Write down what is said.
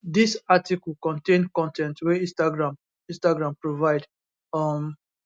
dis article contain con ten t wey instagram instagram provide um